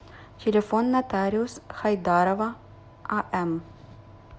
телефон нотариус хайдарова ам